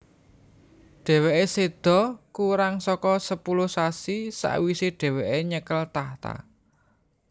Dhèwèké séda kurang saka sepuluh sasi sawisé dhèwèké nyekel tahta